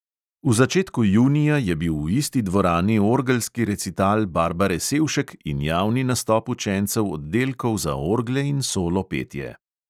V začetku junija je bil v isti dvorani orgelski recital barbare sevšek in javni nastop učencev oddelkov za orgle in solo petje.